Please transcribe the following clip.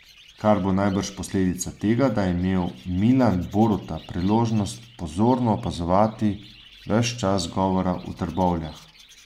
Kar bo najbrž posledica tega, da je imel Milan Boruta priložnost pozorno opazovati ves čas govora v Trbovljah.